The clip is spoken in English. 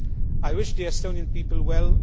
I wish the Estonian people well.